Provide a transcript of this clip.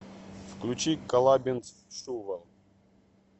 включи колабинс шувал